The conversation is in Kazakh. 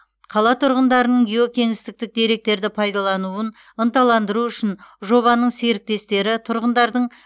қала тұрғындарының гео кеңістіктік деректерді пайдалануын ынталандыру үшін жобаның серіктестері тұрғындардың